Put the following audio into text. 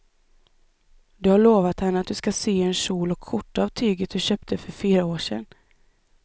Du har lovat henne att du ska sy en kjol och skjorta av tyget du köpte för fyra år sedan.